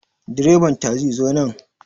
Direban tasi zo nan